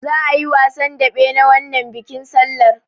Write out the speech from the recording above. Za'a yi wasan daɓe na wannan bikin sallar.